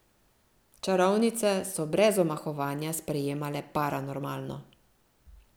Čarovnice so brez omahovanja sprejemale paranormalno.